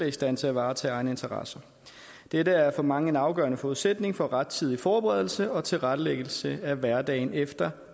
er i stand til at varetage egne interesser dette er for mig en afgørende forudsætning for rettidig forberedelse og tilrettelæggelse af hverdagen efter